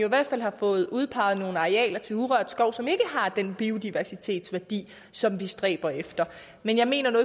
i hvert fald fået udpeget nogle arealer til urørt skov som ikke har den biodiversitetsværdi som vi stræber efter men jeg mener nu